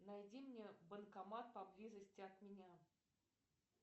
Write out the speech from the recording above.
найди мне банкомат поблизости от меня